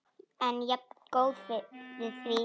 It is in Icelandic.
En jafngóð fyrir því!